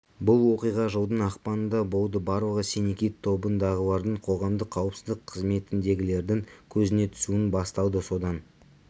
бұл оқиға жылдың ақпанында болды барлығы синий кит тобындағылардың қоғамдық қауіпсіздік қызметіндегілердің көзіне түсуінен басталды содан